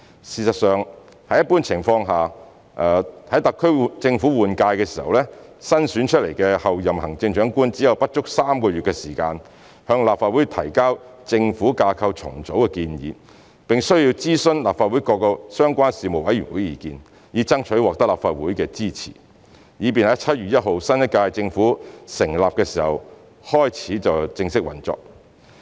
事實上，在一般情況下，在特區政府換屆時，新選出的候任行政長官只有不足3個月的時間向立法會提交政府架構重組的建議，並須諮詢立法會各個相關事務委員會的意見，以爭取立法會的支持，以便在7月1日新一屆政府成立時正式開始運作。